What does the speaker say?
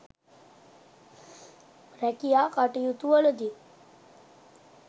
රැකියා කටයුතුවලදී